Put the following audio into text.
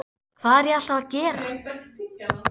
Hvað er ég alltaf að gera?